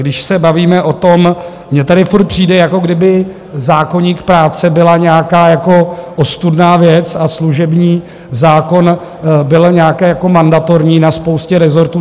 Když se bavíme o tom, mně tady stále přijde, jako kdyby zákoník práce byla nějaká ostudná věc a služební zákon byl nějaký jako mandatorní na spoustě rezortů.